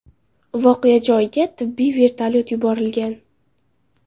Voqea joyiga tibbiy vertolyot yuborilgan.